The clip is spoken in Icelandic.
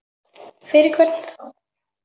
Fyrir hvern þá?